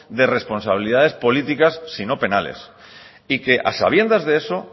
de responsabilidades políticas sino penales y que a sabiendo de eso